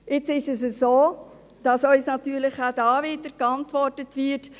Jetzt ist es so, dass uns natürlich auch dort wieder geantwortet wird: